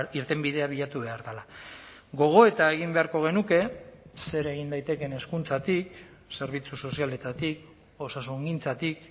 irtenbidea bilatu behar dela gogoeta egin beharko genuke zer egin daitekeen hezkuntzatik zerbitzu sozialetatik osasungintzatik